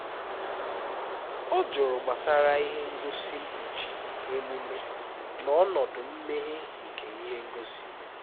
ọ jụrụ gbasara ihe ngosi nkpuchi emume na ọnọdụ mmeghe nke ihe ngosi